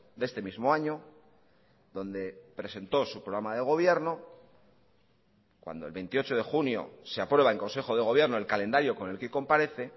de este mismo año donde presentó su programa de gobierno cuando el veintiocho de junio se aprueba en consejo de gobierno el calendario con el que comparece